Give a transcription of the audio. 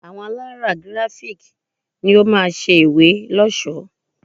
Àwọn alárà Grafik ni ó máa ṣe ìwé lọ́ṣọ̀ọ́.